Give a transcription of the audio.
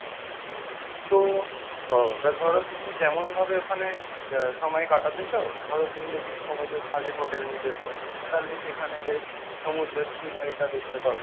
তো এবার ধরো তুমি যেমন ভাবে ওখানে সময় কাটাতে চাও ধরো তুমি যদি সমুদ্রের ধারে hotel নিতে চাও তাহলে সেখানে বেশ সমুদ্রের scenery টা দেখতে পাবে।